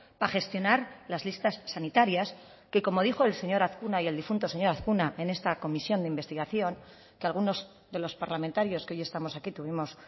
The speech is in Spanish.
para gestionar las listas sanitarias que como dijo el señor azkuna y el difunto señor azkuna en esta comisión de investigación que algunos de los parlamentarios que hoy estamos aquí tuvimos